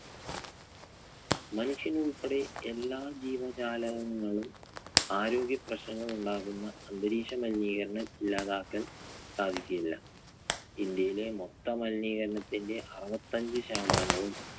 മനുഷ്യൻ ഉൾപ്പെടെ എല്ലാ ജീവജാലകങ്ങളും ആരോഗ്യപ്രശ്നങ്ങൾ ഉണ്ടാക്കുന്ന അന്തരീക്ഷ മലിനീകരണം ഇല്ലാതാക്കാൻ സാധിക്കുകയില്ല. ഇന്ത്യയിലെ മൊത്തം മലിനീകരണത്തിന്റെ അറുപത്തഞ്ച് ശതമാനവും